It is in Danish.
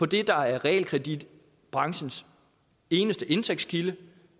det der er realkreditbranchens eneste indtægtskilde